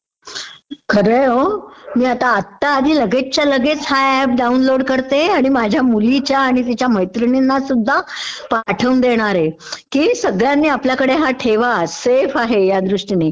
खरं आहे हो..मी आता आत्ता आधी लगेचच्या लगेच हा ऍप डाऊनलोड करते, आणि माझ्या मुलीला आणि तिच्या मैत्रिणींनासुध्दा पाठवून देणारे की सगळ्यांनी आपल्याकडे हा ठेव, सेफ आहे ह्या दृष्टीनी.